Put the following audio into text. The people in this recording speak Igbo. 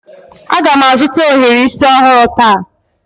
Aga m azụta ohiri isi ọhụrụ taa